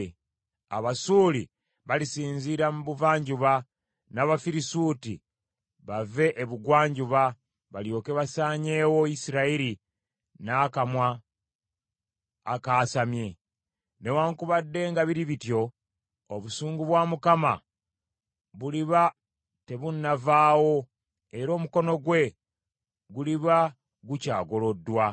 Abasuuli balisinziira mu buvanjuba, n’Abafirisuuti bave ebugwanjuba, balyoke basaanyeewo Isirayiri n’akamwa akaasamye. Newaakubadde nga biri bityo, obusungu bwa Mukama buliba tebunnavaawo era omukono gwe guliba gukyagoloddwa.